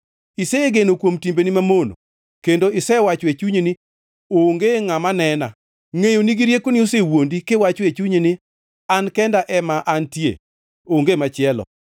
Isegeno kuom timbeni mamono kendo isewacho e chunyi ni, ‘Onge ngʼama nena.’ Ngʼeyoni gi riekoni osewuondi kiwacho e chunyi ni, ‘An kenda ema antie, onge machielo.’